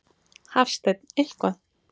Hafsteinn: Eitthvað?